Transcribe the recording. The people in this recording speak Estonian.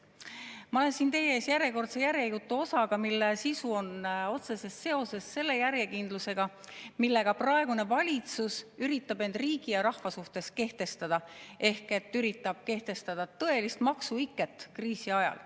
Ma olen siin teie ees järjekordse järjejutuosaga, mille sisu on otseses seoses selle järjekindlusega, millega praegune valitsus üritab end riigi ja rahva suhtes kehtestada ehk üritab kehtestada tõelist maksuiket kriisi ajal.